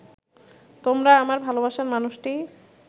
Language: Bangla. তোমরা আমার ভালোবাসার মানুষটি